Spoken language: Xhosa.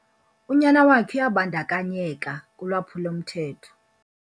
Unyana wakhe uyabandakanyeka kulwaphulo-mthetho